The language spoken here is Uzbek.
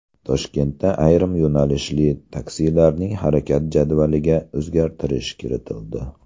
Toshkentda ayrim yo‘nalishli taksilarning harakat jadvaliga o‘zgartirish kiritildi.